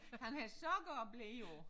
Han har sokker og ble jo